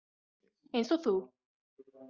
Eins og þú.